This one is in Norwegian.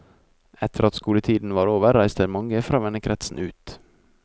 Etter at skoletiden var over, reiste mange fra vennekretsen ut.